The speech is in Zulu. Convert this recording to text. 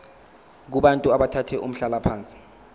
kubantu abathathe umhlalaphansi